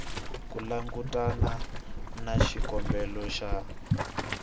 ku langutana na xikombelo xa